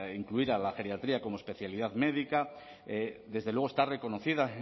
incluir a la geriatría como especialidad médica desde luego está reconocida